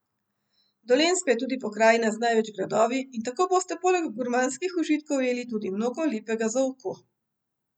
Dolenjska je tudi pokrajina z največ gradovi in tako boste poleg gurmanskih užitkov ujeli tudi mnogo lepega za oko.